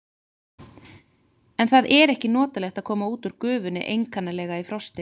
En það er ekki notalegt að koma út úr gufunni einkanlega í frosti.